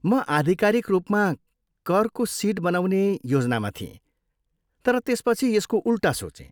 म आधिकारिक रूपमा करको सिट बनाउने योजनामा थिएँ तर त्यसपछि यसको उल्टा सोचेँ।